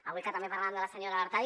avui que també parlàvem de la senyora artadi